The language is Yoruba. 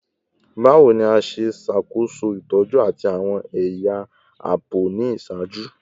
Bawo ni a ṣe ṣakoso itọju ati awọn ẹya aabo ni iṣaaju?